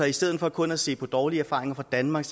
i stedet for kun at se på dårlige erfaringer fra danmark